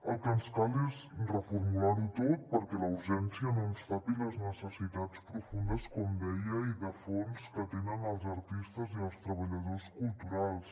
el que ens cal és reformular ho tot perquè la urgència no ens tapi les necessitats profundes com deia i de fons que tenen els artistes i els treballadors culturals